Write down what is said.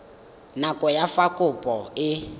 nako ya fa kopo e